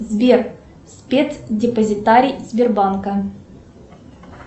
сбер спецдепозитарий сбербанка